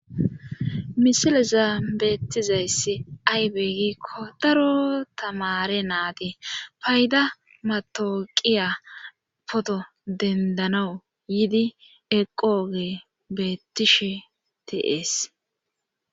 Misileza beettizayssi aybeegikko daro tamare naadi payda matooqiya poto dendanawu yiidi eqoogee beettishe tiees.